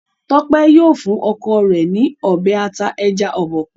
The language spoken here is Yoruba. Tope yíò fún ọkọ rẹ n Ọbẹ̀ ata ẹja Obokun.